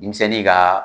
Denmisɛnnin ka